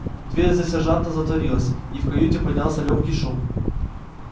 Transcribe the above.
дверь за сержантом затворилась и в каюте поднялся лёгкий шум